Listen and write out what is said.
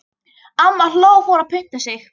Amma hló og fór að punta sig.